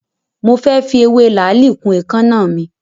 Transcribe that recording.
Mo fẹ́ fi ewé làálì kun èékánná mi.